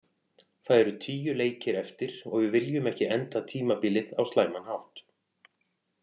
Það eru tíu leikir eftir og við viljum ekki enda tímabilið á slæman hátt.